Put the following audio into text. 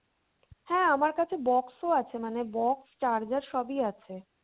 হ্যাঁ আমার কাছে box ও আছে মানে box charger সবই আছে।